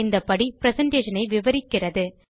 இந்த படி பிரசன்டேஷன் ஐ விவரிக்கிறது